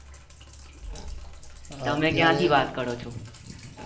તમે ક્યા થી વાત કરો છો